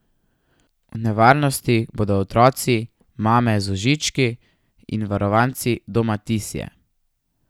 V nevarnosti bodo otroci, mame z vozički in varovanci Doma Tisje.